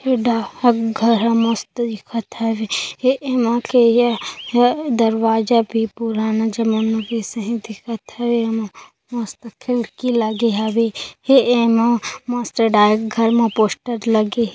ए डाहक घर ह मस्त दिखत हवे एमा के ए ह दरवाजा भी पुराना जमाना के सही दिखत हवे एमा मस्त खिड़की लगे हवे ए एमा मस्त डाक घर म पोस्टर लगे हे।